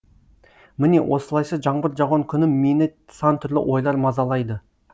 міне осылайша жаңбыр жауған күні мені сан түрлі ойлар мазалайды